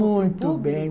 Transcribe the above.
Muito bem.